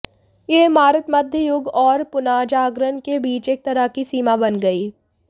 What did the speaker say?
यह इमारत मध्य युग और पुनर्जागरण के बीच एक तरह की सीमा बन गई